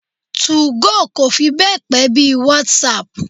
Two-go kò fi be pe bí í WhatsApp.